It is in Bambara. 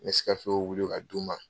N bɛ se ka wuli ka d'u ma.